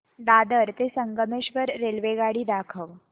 दादर ते संगमेश्वर रेल्वेगाडी दाखव